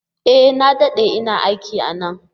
E! Na dade ina aiki a nan.